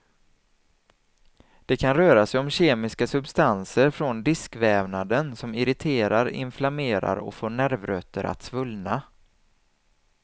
Det kan röra sig om kemiska substanser från diskvävnaden som irriterar, inflammerar och får nervrötter att svullna.